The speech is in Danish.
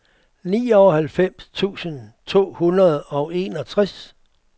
nioghalvfems tusind to hundrede og enogtres